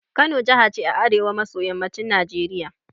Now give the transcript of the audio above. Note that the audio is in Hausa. Kano jaha ce a arewa maso yammacin Najeriya